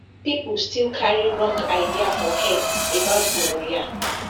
people still carry wrong idea for head about gonorrhea